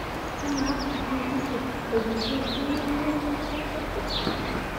kamaa fahirisi e uv kidimayu niaku nchomata esiet